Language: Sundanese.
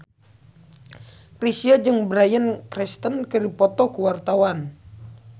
Chrisye jeung Bryan Cranston keur dipoto ku wartawan